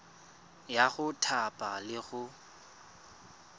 ya go thapa le go